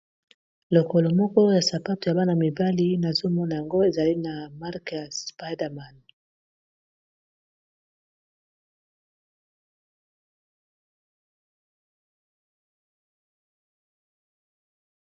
Lokolo moko ya sapato ya bana-mibali nazomona yango ezali na mark ya spiderman.